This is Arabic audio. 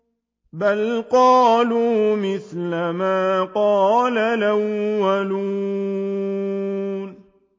بَلْ قَالُوا مِثْلَ مَا قَالَ الْأَوَّلُونَ